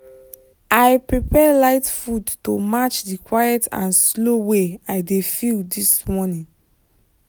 i prepare light food to match the quiet and slow way i dey feel this morning.